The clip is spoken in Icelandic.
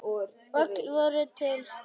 Öllu var tjaldað til.